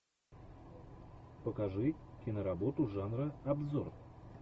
покажи киноработу жанра обзор